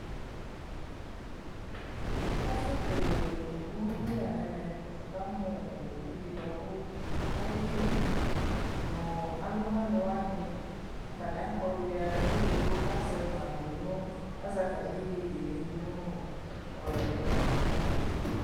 Ɛfu kele owubi la nɛmɛ nikamuuowu di bua ku akekele nu ɔlunaniwani ʒa nɛfuɛdigbo kaʒɛ atami yeyee dunuu ɛmɔ li